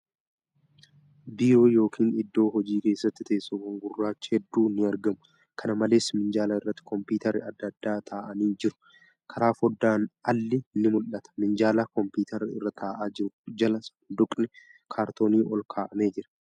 Biiroo yookin iddoo hojii keesaatti teessoowwan gurraachi hedduun ni argamu. Kana malees, minjaala irratti kompiitarri adda addaa taa'aanii jiru. Karaa fooddaan alli ni mul'ata. Minjaala kompiitarri irra taa'aa jiru jala sanduuqni kaartoonii olkaa'amee jira.